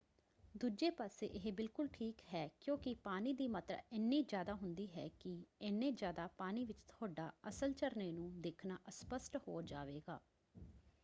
ਦੂਜੇ ਪਾਸੇ ਇਹ ਬਿਲਕੁਲ ਠੀਕ ਹੈ ਕਿਉਂਕਿ ਪਾਣੀ ਦੀ ਮਾਤਰਾ ਇੰਨੀ ਜ਼ਿਆਦਾ ਹੁੰਦੀ ਹੈ ਕਿ—ਏਨੇ ਜ਼ਿਆਦਾ ਪਾਣੀ ਵਿੱਚ ਤੁਹਾਡਾ ਅਸਲ ਝਰਨੇ ਨੂੰ ਦੇਖਣਾ ਅਸਪਸ਼ਟ ਹੋ ਜਾਵੇਗਾ!